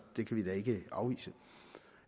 det kan vi da ikke afvise